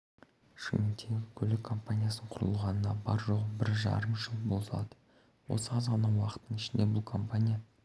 шымкенттегі көлік компаниясының құрылғанына бар-жоғы бір жарым жыл болады осы аз ғана уақыттың ішінде бұл компания